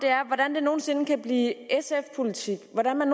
er hvordan det nogen sinde kan blive sf politik hvordan